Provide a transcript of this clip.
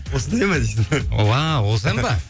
осындай ма десең уау осы ән бе